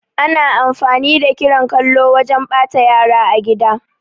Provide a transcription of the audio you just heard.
Ana amfani da kiran kallo wajan ɓata yara a gida